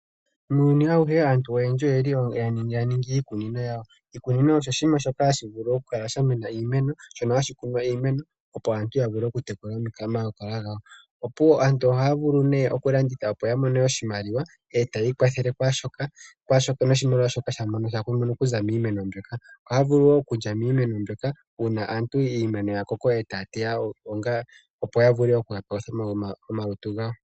Mongaashingeyi aantu oyendji oyeli yaningi iikunino yawo Oshikunino osho oshinima shono shamema iimeno opo aantu yavule oku aantu ohaya yavulu nee oku yavule okumona oshimaliwa. Yakoko etaya teya onga